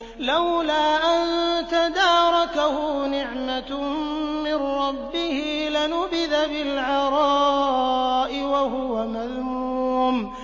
لَّوْلَا أَن تَدَارَكَهُ نِعْمَةٌ مِّن رَّبِّهِ لَنُبِذَ بِالْعَرَاءِ وَهُوَ مَذْمُومٌ